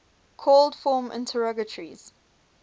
called form interrogatories